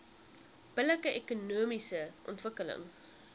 billike ekonomiese ontwikkeling